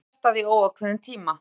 Hvalveiðum frestað í óákveðinn tíma